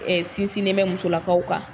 Sinsinnen bɛ musolakaw kan